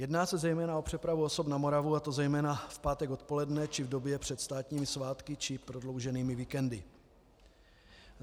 Jedná se zejména o přepravu osob na Moravu, a to zejména v pátek odpoledne či v době před státními svátky či prodlouženými víkendy.